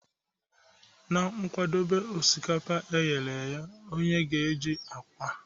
Na-akwadebe osikapa e ghere eghe, onye ga-eji agwa.